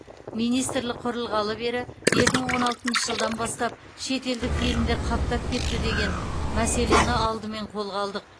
министрлік құрылғалы бері екі мың он алтыншы жылдан бастап шетелдік фильмдер қаптап кетті деген мәселені алдымен қолға алдық